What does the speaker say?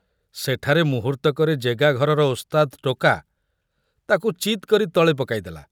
ସେଠାରେ ମୁହୂର୍ତ୍ତକରେ ଜେଗାଘରର ଓସ୍ତାଦ ଟୋକା ତାକୁ ଚିତ୍‌କରି ତଳେ ପକାଇଦେଲା।